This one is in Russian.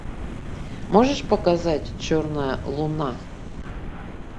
можешь показать черная луна